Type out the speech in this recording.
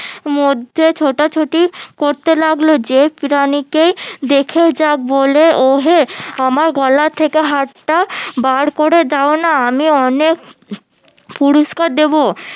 মধ্যে ছোটাছুটি করতে লাগলো যে প্রাণীকেই দেখে বলে ওহে আমার গলা থেকে হারটা বার করে দাও না আমি অনেক পুরস্কার দেবো